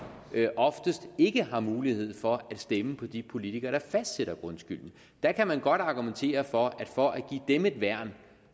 oftest ikke har mulighed for at stemme på de politikere der fastsætter grundskylden der kan man godt argumentere for at for at give dem et værn